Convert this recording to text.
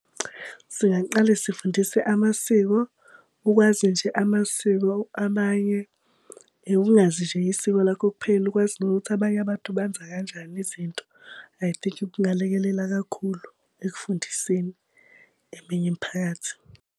Singaqale sifundise amasiko, ukwazi nje amasiko abanye. Ungazi nje isiko lakho kuphela ukwazi nokuthi abanye abantu benza kanjani izinto. I think kungalekelela kakhulu ekufundiseni eminye imiphakathi.